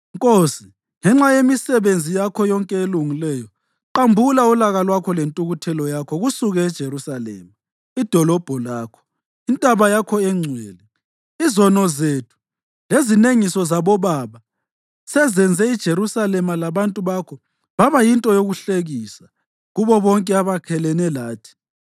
Nkosi, ngenxa yemisebenzi yakho yonke elungileyo, qambula ulaka lwakho lentukuthelo yakho kusuke eJerusalema, idolobho lakho, intaba yakho engcwele. Izono zethu lezinengiso zabobaba sezenze iJerusalema labantu bakho baba yinto yokuhlekisa kubo bonke abakhelene lathi.